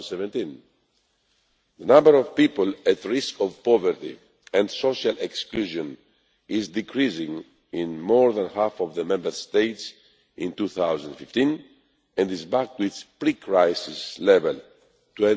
2017. The number of people at risk of poverty and social exclusion decreased in more than half of the Member States in 2015 and is back to its pre crisis level of